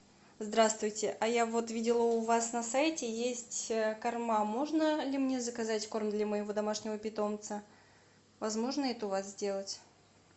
здравствуйте а я вот видела у вас на сайте есть корма можно ли мне заказать корм для моего домашнего питомца возможно это у вас сделать